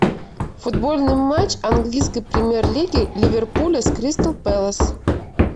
футбольный матч английской премьер лиги ливерпуля с кристал пэлас